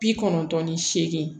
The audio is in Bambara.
Bi kɔnɔntɔn ni seegin